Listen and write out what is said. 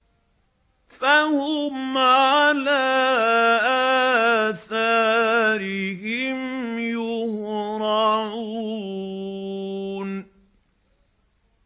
فَهُمْ عَلَىٰ آثَارِهِمْ يُهْرَعُونَ